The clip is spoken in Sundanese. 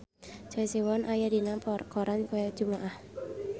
Choi Siwon aya dina koran poe Jumaah